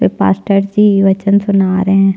एक मास्टर जी भजन सुना रहे है।